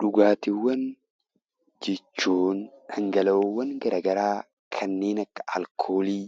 Dhugaatiwwan jechuun dhangala'oowwan gara garaa kanneen akka alkoolii